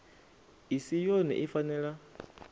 i si yone i fanela